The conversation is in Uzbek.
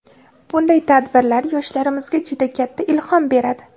bunday tadbirlar yoshlarimizga juda katta ilhom beradi.